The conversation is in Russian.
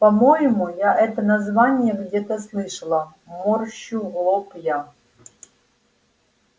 по-моему я это название где-то слышала морщу лоб я